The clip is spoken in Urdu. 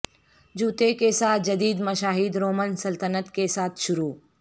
جوتے کے ساتھ جدید مشاہد رومن سلطنت کے ساتھ شروع